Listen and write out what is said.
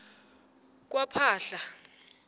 kwaphahla